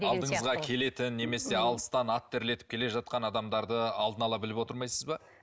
алдыңызға келетін немесе алыстан ат терлетіп келе жатқан адамдарды алдын ала біліп отырмайсыз ба